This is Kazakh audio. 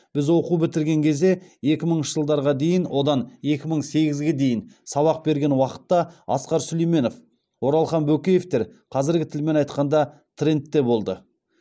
біз оқу бітірген кезде екі мыңыншы жылдарға дейін одан екі мың сегізге дейін сабақ берген уақытта асқар сүлейменов оралхан бөкеевтер қазіргі тілмен айтқанда трендте болды